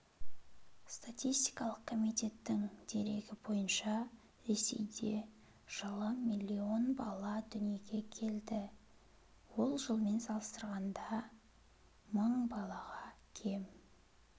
статистикалық комитеттің дерегі бойынша ресейде жылы миллион бала дүние келді ол жылмен салыстырғанда мың балаға кем